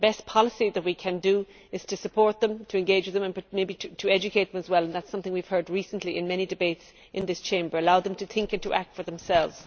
The best policy that we can do is to support them, to engage with them and maybe to educate them as well, which is something we have heard recently in many debates in this Chamber, and to allow them to think and to act for themselves.